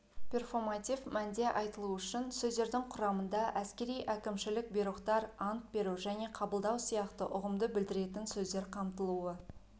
перфоматив мәнде айтылу үшін сөздердің құрамында әскери әкімшілік бұйрықтар ант беру және қабылдау сияқты ұғымды білдіретін сөздер қамтылуы